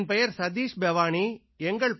என் பெயர் சதீஷ் பெவானி பேவானீ